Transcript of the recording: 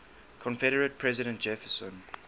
confederate president jefferson